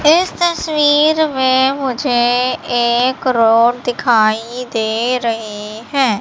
इस तस्वीर में मुझे एक रोड दिखाई दे रही हैं।